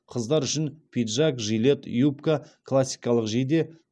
қыздар үшін пиджак жилет юбка классикалық жейде